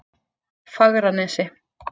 Fagranesi